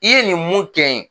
I ye nin mun kɛ n ye.